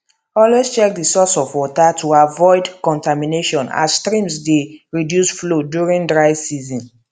always check the source of water to avoid contamination as streams dey reduce flow during dry season